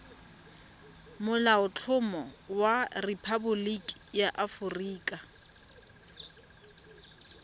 molaotlhomo wa rephaboliki ya aforika